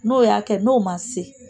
N'o y'a kɛ n'o ma se